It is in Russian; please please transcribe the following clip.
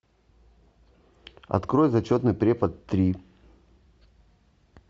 открой зачетный препод три